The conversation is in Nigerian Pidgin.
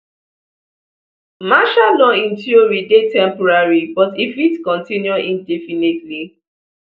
martial law in theory dey temporary but e fit continue indefinitely